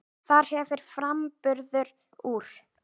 Þar hefur framburður úr